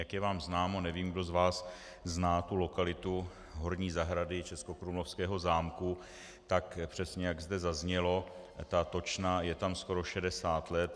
Jak je vám známo, nevím, kdo z vás zná tu lokalitu horní zahrady českokrumlovského zámku, tak přesně jak zde zaznělo, ta točna je tam skoro 60 let.